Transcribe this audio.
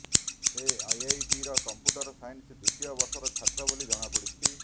ସେ ଆଇଆଇଟିର କମ୍ପୁଟର ସାଇନ୍ସର ଦ୍ବିତୀୟ ବର୍ଷର ଛାତ୍ର ବୋଲି ଜଣାପଡିଛି